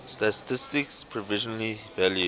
statistik provisionally valued